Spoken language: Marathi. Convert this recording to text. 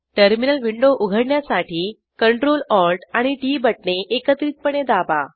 टर्मिनल विंडो उघडण्यासाठी Ctrl Alt आणि टीटी बटणे एकत्रितपणे दाबा